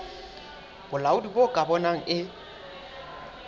bolaodi bo ka bonang e